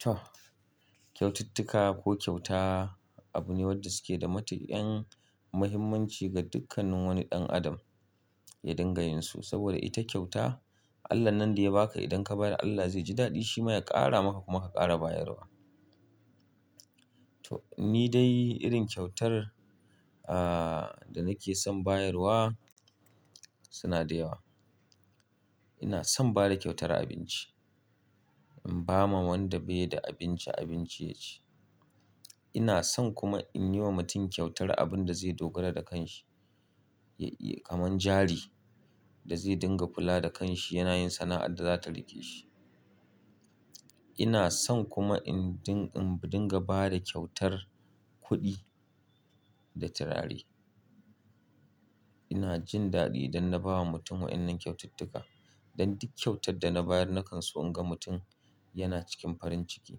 To, kyaututtuka ko kyauta abu ne wadda suke da matuƙan mahimmanci ga dukkanin wani ɗan adam ya dinga yinsu saboda ita kyauta Allah nan da ya baka idan ka bayar Allah zai ji daɗi shi ma ya ƙara maka kuma ka ƙara bayarwa. To ni dai irin kyautar ahhh da nake son bayarwa suna da yawa. Ina son bada kyautar abinci, in ba ma wanda bai da abinci abinci yaci. Ina son kuma in yi wa mutum kyautar abun da zai dogara da kanshi ya iya kamar jari da zai dinga kula da kanshi yana yin sana'ar da zata riƙe shi. Ina son kuma in dinga ba da kyautar kuɗi da turare. Ina jin daɗi idan na ba wa mutum wa'ennan kyaututtuka. Dan duk kyautar da na bayar na kan so in ga mutum yana cikin farin ciki.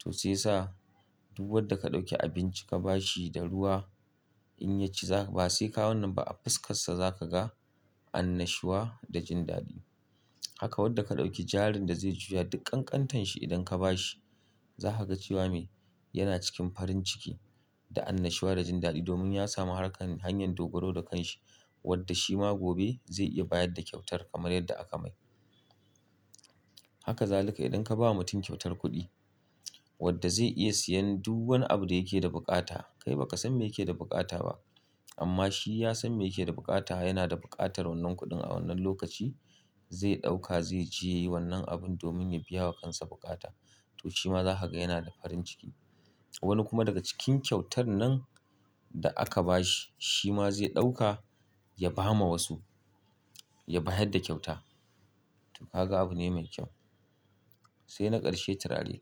To shi ya sa du wadda ka ɗauki abinci ka ba shi da ruwa in ya ci ba sai ka wannan ba a fuskassa za ka ga annashuwa da jin daɗi. Haka wadda ka ɗauki jarin da zai juya dukkan ƙantanshi idan ka ba shi za ka ga cewa mai yana cikin farin ciki da annashuwa da jin daɗi domin ya samu harkar hanyar dogaro da kanshi wadda shi ma gobe zai iya bayar da kyautar kamar yadda aka mai. Haka zaluka idan ka ba mutum kyautar kuɗi wadda zai iya siyan du wani abu da yake da bukata. Kai baka san me yake da bukata ba amma shi ya san me yake da bukata yana da buƙatar wannan kuɗin a wannan lokaci zai ɗauka zai je yayi wannan abun domin ya biya wa kansa bukata to shi ma za ka ga yana da farin ciki. Wani kuma daga cikin kyautar nan da aka ba shi shi ma zai ɗauka ya ba ma wasu ya bayar da kyauta to ka ga abu ne mai kyau. Sai na ƙarshe turare.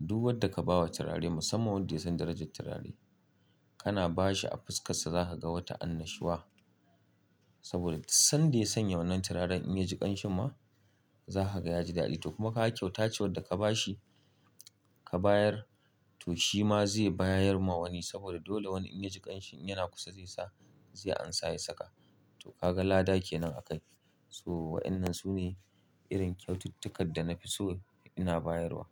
Du wadda ka bawa turare musamman wanda ya san darajat turare kana ba shi a fuskassa za ha ga wata annashuwa saboda dus sanda ya sanya wannan turaren in ya ji ƙanshi ma za ha ga ya ji daɗi to kuma ka ga kyauta ce wadda ka ba shi ka bayar to shi ma zai bayar ma wani saboda dole wani in ya ji ƙanshi in yana kusa zai sa zai ansa ya saka to ka ga lada kenan a kai. So wa'inan sune irin kyaututtukad da na fi so ina bayarwa.